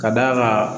Ka d'a kan